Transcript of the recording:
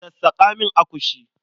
Sassaƙa min akushi.